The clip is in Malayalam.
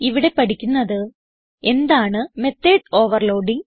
ഇവിടെ പഠിക്കുന്നത് എന്താണ് മെത്തോട് ഓവർലോഡിങ്